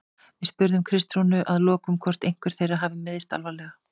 Við spurðum Kristrúnu að lokum hvort einhver þeirra hafi meiðst alvarlega?